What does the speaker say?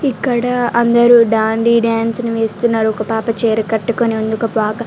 ఇక్కడ అందరు దాండి డాన్స్ వేస్తున్నారు ఒక పాప చీర కట్టుకొని ఉన్నది ఒక పాప--